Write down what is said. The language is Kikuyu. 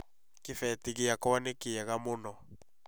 Kĩbeti gĩakwa nĩ kĩega mũno